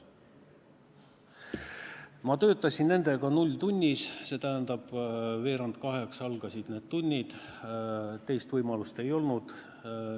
Ma töötasin nendega nulltunnis – see tähendab, et veerand kaheksa algasid need tunnid, teist võimalust ei olnud.